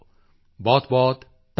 ਬਹੁਤਬਹੁਤ ਧੰਨਵਾਦ